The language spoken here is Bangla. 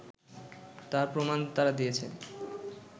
তার প্রমাণ তারা দিয়েছে